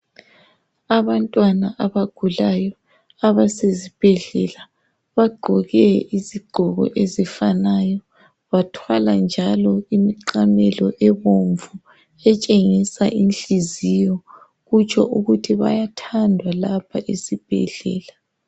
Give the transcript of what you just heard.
Abantwana abagulayo abasezibhedlela. Bagqoke izigqoko ezifanayo. Bathwala njalo imiqamelo ebomvu etshenhisa inhliziyo. Kutsho ukuthi bayathandwa lapha esibhedlela